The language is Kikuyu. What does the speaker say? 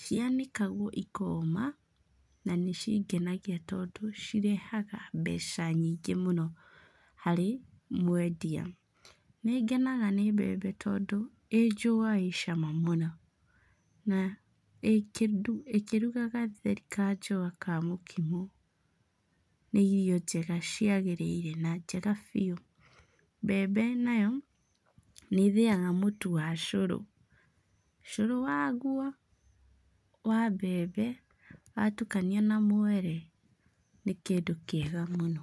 cianĩkagwo ikoma na nĩcingenagia tondũ cirehaga mbeca nyingĩ mũno harĩ mwendia. Nĩ ngenaga nĩ mbembe tondũ, ĩĩ njũa ĩĩ cama mũno. Na ĩĩ ĩkĩruga gatheri ka njũa ka mũkimo nĩ irio njega ciagĩrĩire na njega biũ. Mbembe nayo nĩ ĩthĩaga mũtu wa cũrũ. Cũrũ waguo wa mbembe watukania na mwere nĩ kĩndũ kĩega mũno.